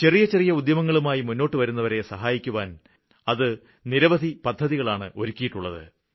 ചെറിയ ചെറിയ ഉദ്യമങ്ങളുമായി മുന്നോട്ടുവരുന്നവരെ സഹായിക്കുവാന് അത് നിരവധി പദ്ധതികളാണ് ഒരുക്കിയിട്ടുള്ളത്